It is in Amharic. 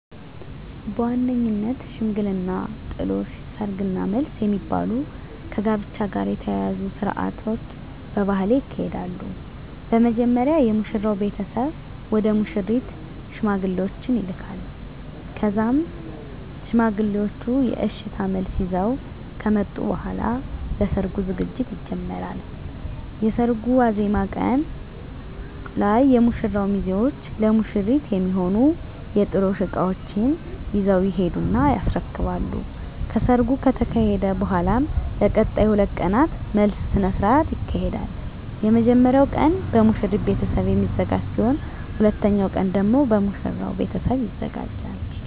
በዋነኝነት ሽምግልና፣ ጥሎሽ፣ ሰርግ እና መልስ የሚባሉ ከጋብቻ ጋር የተያያዙ ስርአቶች በባህሌ ይካሄዳሉ። በመጀመሪያ የሙሽራው ቤተሰብ ወደ ሙሽሪት ሽማግሌዎችን ይልካል ከዛም ሽማግሌዎቹ የእሽታ መልስ ይዘው ከመጡ በኃላ ለሰርጉ ዝግጅት ይጀመራል። የሰርጉ ዋዜማ ቀን ላይ የሙሽራው ሚዜዎች ለሙሽሪት የሚሆኑ የጥሎሽ እቃዎችን ይዘው ይሄዱና ያስረክባሉ። ከሰርጉ ከተካሄደ በኃላም ለቀጣይ 2 ቀናት መልስ ስነ ስርዓት ይካሄዳል። የመጀመሪያው ቀን በሙሽሪት ቤተሰብ የሚዘጋጅ ሲሆን ሁለተኛው ቀን ደግሞ የሙሽራው ቤተሰብ ያዘጋጃል።